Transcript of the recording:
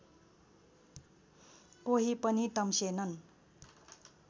कोही पनि तम्सेनन्